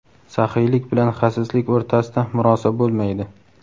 saxiylik bilan xasislik o‘rtasida murosa bo‘lmaydi.